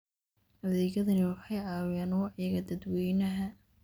Adeegyadani waxay caawiyaan wacyiga dadweynaha.